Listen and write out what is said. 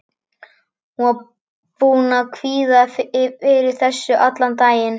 Hún var búin að kvíða fyrir þessu allan daginn.